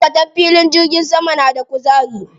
Maʼaikatan filin jirgin sama na da kuzari.